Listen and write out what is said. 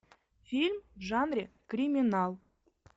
фильм в жанре криминал